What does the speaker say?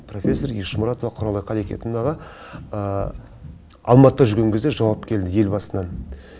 профессор ешмұратова құралай қарекетовнаға алматыда жүрген кезде жауап келді елбасынан